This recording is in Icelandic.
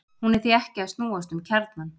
hún er því ekki að snúast um kjarnann!